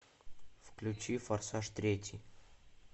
включи форсаж третий